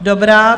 Dobrá.